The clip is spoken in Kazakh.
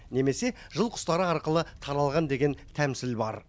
немесе жыл құстары арқылы таралған деген тәмсіл бар